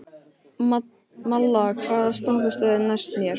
Malla, hvaða stoppistöð er næst mér?